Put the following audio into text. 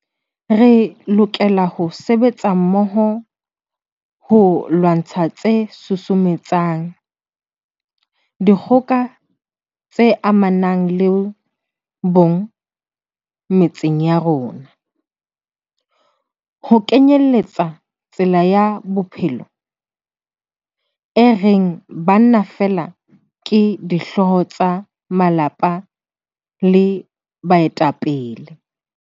Re lokela ho sebetsa mmoho ho lwantsha tse susumetsang dikgoka tse amanang le bong metseng ya rona, ho kenyeletsa tsela ya bophelo e reng banna feela ke dihlooho tsa malapa le baetapele.